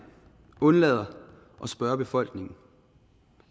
undlader at spørge befolkningen